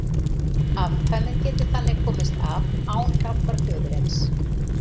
Afkvæmið getur þannig komist af án hjálpar föðurins.